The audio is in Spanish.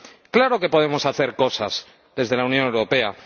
¡Claro que podemos hacer cosas desde la Unión Europea!